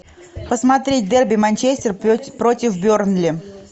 посмотреть дерби манчестер против бернли